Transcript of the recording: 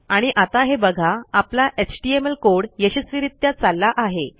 आणि आता हे बघा आपला एचटीएमएल कोड यशस्वीरित्या चालला आहे